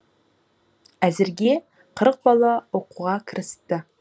әзірге қырық бала оқуға кірісті